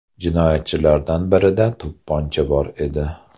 Jinoyatchilardan birida to‘pponcha bor edi.